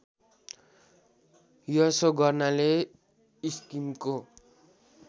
यसो गर्नाले स्किमको